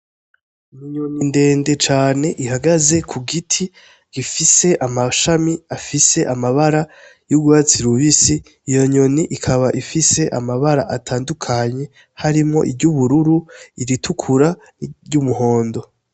Iminyoni ndende cane ihagaze ku giti gifise amashami afise amabara y'urwatsi rubisi iyo nyoni ikaba ifise amabara atandukanye harimwo iryo ubururu iritukura ry'umuhondo.